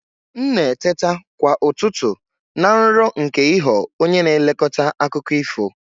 M na-eteta kwa ụtụtụ na nrọ nke ịghọ onye na-elekọta akụkọ ifo.